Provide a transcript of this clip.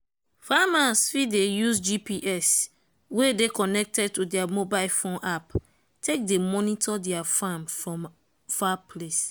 farmers fit dey use gps wey dey connected to their mobile phone app take dey monitor their farm from far place.